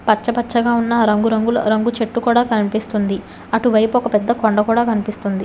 పచ్చపచ్చగా ఉన్న ఆ రంగు రంగుల చెట్టు కూడ కనిపిస్తుంది అటువైపు ఒక పెద్ద కొండ కూడా కనిపిస్తుంది.